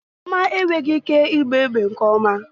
Chioma enweghị ike ịgba egbe nke ọma